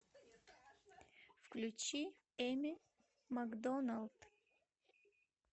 включи эми макдоналд